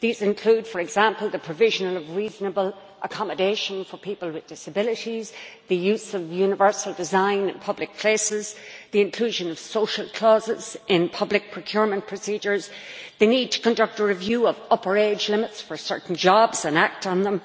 These include, for example, the provision of reasonable accommodation for people with disabilities, the use of universal design in public places, the inclusion of social clauses in public procurement procedures, the need to conduct a review of upper age limits for certain jobs and act on them,